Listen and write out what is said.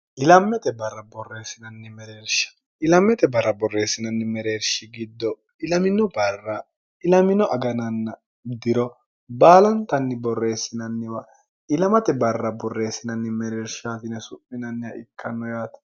ilammete barra borreessinanni mereershi giddo ilamino barra ilamino agananna diro baalantanni borreessinanniwa ilamate barra borreessinanni mereershtine su'minanniha ikkanno yaate